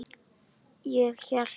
Ég hélt.